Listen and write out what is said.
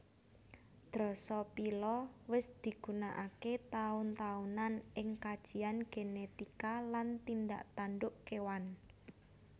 Drosophila wis digunakaké taun taunan ing kajian genetika lan tindak tanduk kéwan